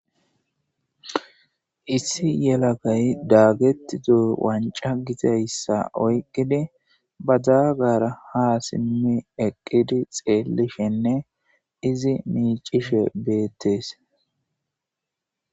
Issi yelagay dagetido wanca gizaysa oykidi badagara ha simi eqid xelishenne izi micishe betes,